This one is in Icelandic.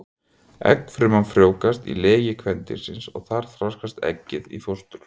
Eggfruman frjóvgast í legi kvendýrsins og þar þroskast eggið í fóstur.